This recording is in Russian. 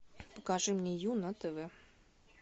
покажи мне ю на тв